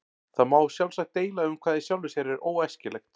Það má sjálfsagt deila um hvað í sjálfu sér er óæskilegt.